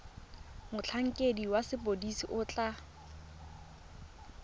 motlhankedi wa sepodisi o tla